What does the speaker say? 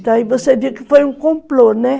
Então aí você viu que foi um complô, né?